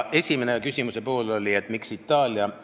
Esimene küsimuse pool oli Itaalia kohta.